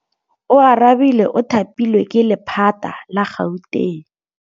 Oarabile o thapilwe ke lephata la Gauteng.